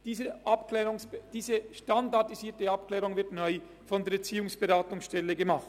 Diese standardisierte Abklärung wird neu von der Erziehungsberatungsstelle vorgenommen.